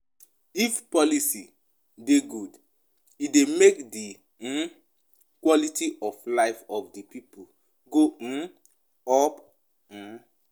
If policy dey good e dey make di um quality of life of di pipo go um up um